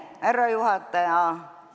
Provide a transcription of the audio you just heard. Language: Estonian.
Härra juhataja!